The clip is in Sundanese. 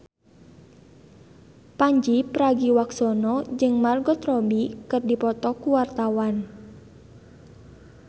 Pandji Pragiwaksono jeung Margot Robbie keur dipoto ku wartawan